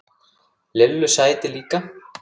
Lillu sæti líka.